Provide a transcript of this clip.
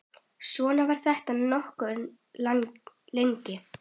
Svona var þetta nokkuð lengi.